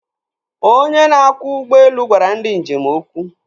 Onye na-akwọ ụgbọelu gwara ndi njem okwu.